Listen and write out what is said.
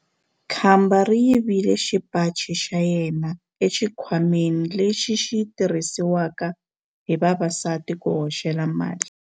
Khamba ri yivile xipaci xa yena exikhwameni lexi xi tirhisiwaka hi vavasati ku hoxela mali.